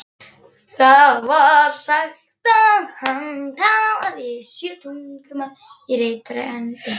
Það var sagt að hann talaði sjö tungumál reiprennandi.